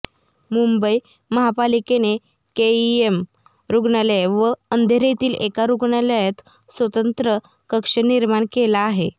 मुंबई महापालिकेने केईएम रुग्णालय व अंधेरीतील एका रुग्णालयात स्वतंत्र कक्ष निर्माण केला आहे